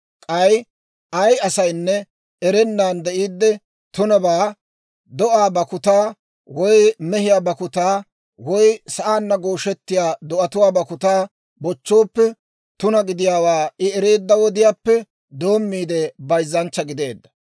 « ‹K'ay ay asaynne erennan de'iidde tunabaa, do'aa bakkutaa woy mehiyaa bakkutaa woy sa'aanna gooshettiyaa do'atuwaa bakkutaa bochchooppe, tuna gidiyaawaa I ereedda wodiyaappe doommiide bayzzanchcha gideedda.